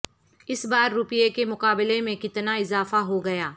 اس بار روپے کے مقابلے میں کتنا اضافہ ہوگیا